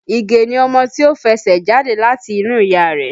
Ige ni ọmọ tí ó fẹsẹ̀ jáde láti inú ìyá rẹ̀